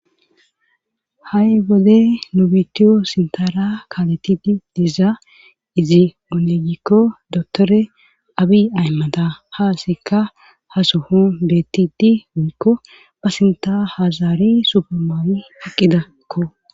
ha7i wode nubitiyo sintara kaletidi dizaa izi oonegikko dotore abi aymada haa sikka ha sohon beettidi woykko ba sinta hazaari subamaawi hiqqidakko